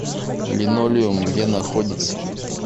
линолеум где находится